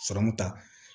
Sɔrɔmu ta